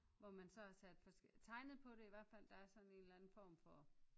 Hvor man så har sat tegnet på det i hvert fald der er sådan en eller anden form for